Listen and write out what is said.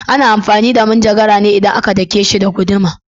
Ana amfani da cisir ne idan aka dake shi da guduma.